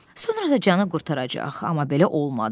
Sonra da canı qurtaracaq, amma belə olmadı.